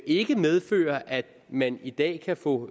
ikke medfører at man i dag kan få